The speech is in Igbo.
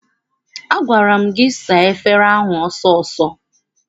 Agwara m gị saa efere ahụ ọsọ ọsọ!